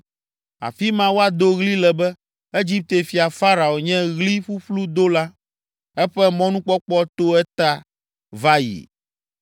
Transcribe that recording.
Afi ma woado ɣli le be, ‘Egipte fia Farao nye ɣli ƒuƒlu dola; eƒe mɔnukpɔkpɔ to eta va yi.’ ”